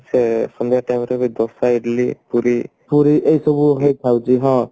ସେ ସନ୍ଧ୍ଯା time ରେ ବି ଦୋସା ଇଡିଲି ପୁରୀ ଏଇସବୁ ହେଲେ ଥାଉଛି ହଁ